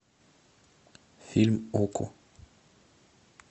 фильм окко